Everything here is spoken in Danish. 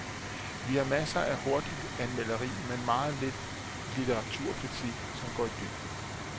Vi har masser af hurtigt anmelderi, men meget lidt litteraturkritik, som går i dybden.